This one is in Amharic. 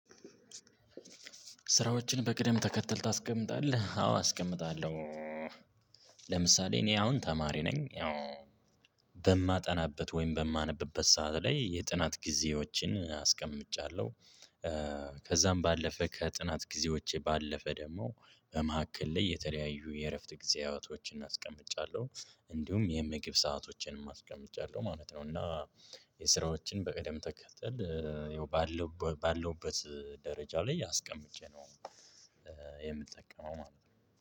ስራዎችን በቅደም ተከትል ታስቀምጣለህ? አዎ አስቀምጣለሁ። ለምሳሌ እኔ አሁን ተማሪ ነኝ። ያው በማጠናበት ወይም በማነብበት ሰዓት ላይ የጥናት ጊዜዎችን አስቀምጫለሁ። ከዛም ባለፈ ከጥናት ጊዜዎቼ ባለፈ ደግሞ በመካከል ላይ የተለያዩ የእረፍት ጊዜያቶችን አስቀምጫለሁ። እንዲሁም የምግብ ሰአቶችንም አስቀምጫለሁ ማለት ነው። እና የስራዎችን በቀደም ተከተል ያው ባለው ባለሁበት ደረጃ ላይ አስቀምጬ ነው። የምጠቀመው ማለት ነው።